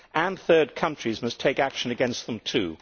the EU, and third countries must take action against them